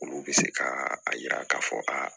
Olu bɛ se ka a yira k'a fɔ aa